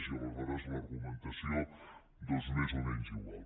i aleshores l’argumentació més o menys és igual